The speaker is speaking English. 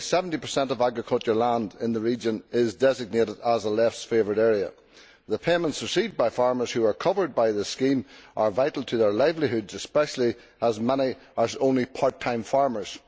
Currently 70 of agricultural land in the region is designated as a Less Favoured Area. The payments received by farmers who are covered by this scheme are vital to their livelihoods, especially as many are only part time farmers.